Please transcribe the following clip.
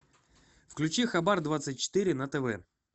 включи хабар двадцать четыре на тв